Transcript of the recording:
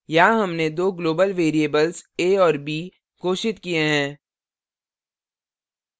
यहाँ हमने दो global variables a और b घोषित किये हैं